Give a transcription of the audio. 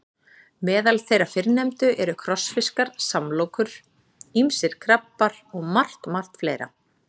Meðal þeirra fyrrnefndu eru krossfiskar, samlokur, ýmsir krabbar og margt, margt fleira.